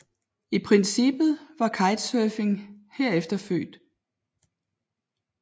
I princippet var kitesurfing herefter født